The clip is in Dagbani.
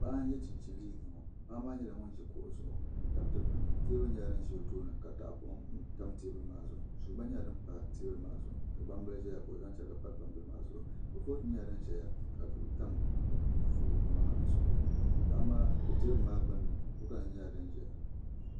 Paɣa n yɛ chinchin liiga ŋo paɣa maa nyɛla ŋun ʒi kuɣu zuɣu n tabi dikpuni teebuli nyɛla din ʒɛ o tooni ka tahapoŋ tam teebuli maa zuɣu suu gba nyɛla din pa teebulI maazuɣu ka gbambili ʒiya ka o zaŋ chɛrigi pa gbambili maa zuɣu kurifooti nyɛla din ʒɛya ka duɣu tam kurifooti maa zuɣu teebuli maa gbunni kuriga nim nyɛla din ʒɛya